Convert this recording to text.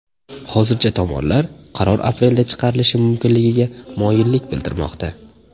Hozircha tomonlar qaror aprelda chiqarilishi mumkinligiga moyillik bildirmoqda.